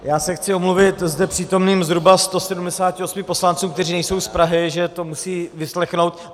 Já se chci omluvit zde přítomným zhruba 178 poslancům, kteří nejsou z Prahy, že to musejí vyslechnout.